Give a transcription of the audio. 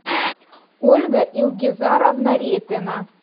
ольга ильгизаровна репина